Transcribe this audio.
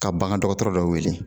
Ka bagan dɔgɔtɔrɔ dɔ wele